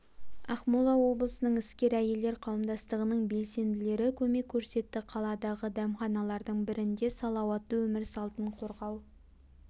ақмола облысының іскер әйелдер қауымдастығының белсенділері көмек көрсетті қаладағы дәмханалардың бірінде салауатты өмір салтын қорғау